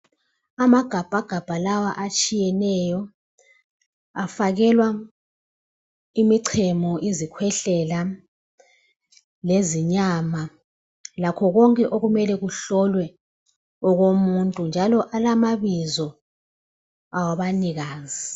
Amagabhagabha lawa atshiyeneyo afakelwa imichemo izikhwehlela lezinyama lakho konke okumele kuhlolwe okomuntu njalo alamabizo abanikazi.